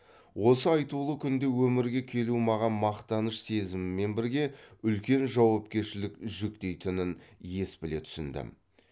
осы айтулы күнде өмірге келу маған мақтаныш сезімімен бірге үлкен жауапкершілік жүктейтінін ес біле түсіндім